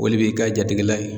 O le b'i ka jatigila ye.